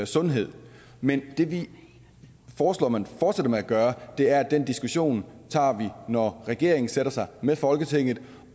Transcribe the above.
sundhed men det vi foreslår man fortsætter med at gøre er at den diskussion når regeringen sætter sig med folketinget